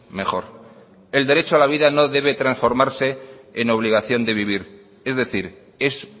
mejor el derecho a la vida no debe transformarse en obligación de vivir es decir es